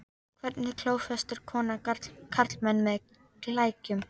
Hvernig klófestir kona karlmann með klækjum?